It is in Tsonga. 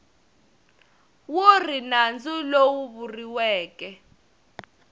wu ri nandzu lowu vuriweke